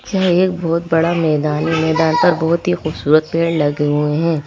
जह एक बहुत बड़ा मैदान है मैदान पर बहुत ही खूबसूरत पेड़ लगे हुए हैं।